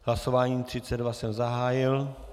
Hlasování 32 jsem zahájil.